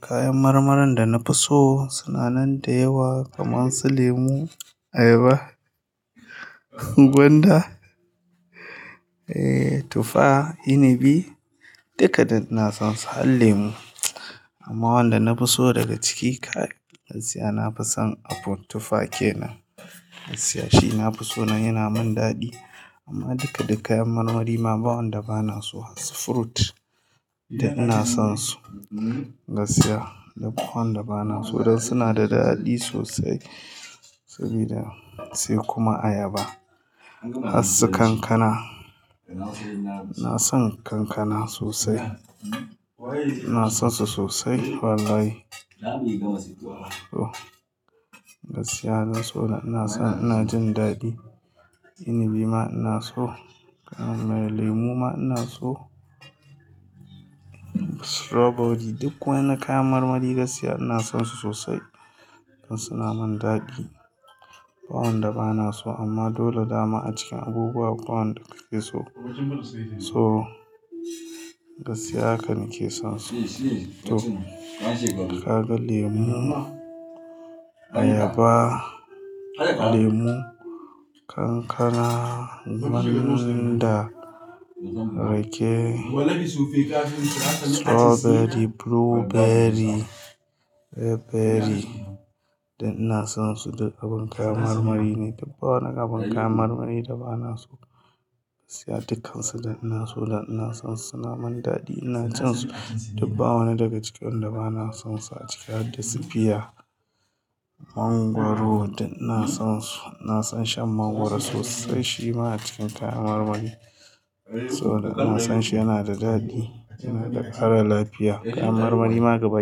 Kayan marmarin da na fi so suna nan da yawa kamar su lemu, ayaba, gwanda, eh tufa, inibi dukka dai ina son su. Har lemu amma wanda na fi so daga ciki ka gaskiya na fi son apple tufa ke nan gaskiya shi na fi so dan yana min daɗi. Amma duka duka kayan marmari ma ba wanda ba na so. Har su fruit duk ina son su gaskiya duk wanda ba na so don suna da daɗi sosai saboda sai kuma ayaba. Har su kankana, ina son kankana sosai. Ina son su sosai wallahi to gaskiya na so ina son ina jin daɗi. Inibi ma ina so, lemu ma ina so. Strawberry duk wani kayan marmari gaskiya ina son su sosai don suna min daɗi. Ba wanda ba na so amma dole dama a cikin abubuwa akwai wanda kake so. To gaskiya hakan na ke son su. To ka ga lemu, ayaba, lemu, kankana, gwanda, rake, strawberry, blueberry, cranberry da ina son su duk abin kayan marmari ne. Duk ba wani abin kayan marmari da ba na so gaskiya dukkansu da ina so da ina son su suna min daɗi ina jin su. Duk bawani daga cikin wanda ba na son su a ciki hadda su fiya, mangwaro duk ina son su. Na son shan mangwaro sosai shi ma a cikin kayan marmari. To ina son shi yana da daɗi, yana da ƙara lafiya. Kayan marmari ma gaba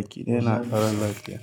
ɗaya na ƙara lafiya.